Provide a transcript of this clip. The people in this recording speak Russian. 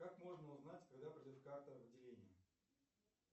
как можно узнать когда придет карта в отделение